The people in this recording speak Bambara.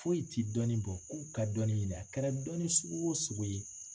Foyi tɛ dɔnni bɔ k'u ka dɔnni ɲini a kɛra dɔnni sugu o sugu ye